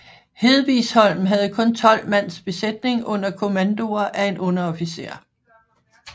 Hedvigsholm havde kun tolv mands besætning under kommandoer af en underofficer